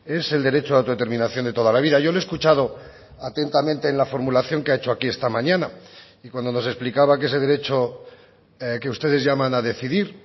es el derecho de autodeterminación de toda la vida yo le he escuchado atentamente en la formulación que ha hecho aquí esta mañana y cuando nos explicaba que ese derecho que ustedes llaman a decidir